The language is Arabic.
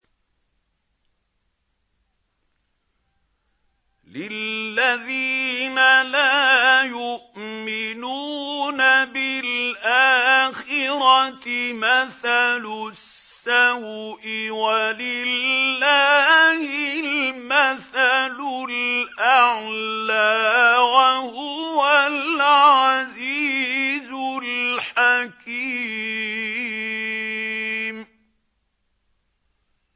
لِلَّذِينَ لَا يُؤْمِنُونَ بِالْآخِرَةِ مَثَلُ السَّوْءِ ۖ وَلِلَّهِ الْمَثَلُ الْأَعْلَىٰ ۚ وَهُوَ الْعَزِيزُ الْحَكِيمُ